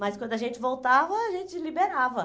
Mas quando a gente voltava, a gente liberava.